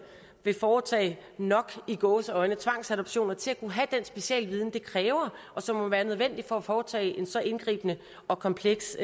vil foretage nok i gåseøjne tvangsadoptioner til at kunne have den specialviden det kræver og som må være nødvendig for at foretage en så indgribende og kompleks